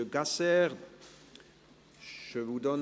Aber der Antrag des Regierungsrates ist gemäss Punkt 3: